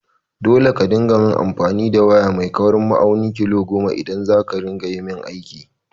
Dole ka dinga main amfani da waya mai kaurin ma'aunin mm goma idaj zakayi min aiki!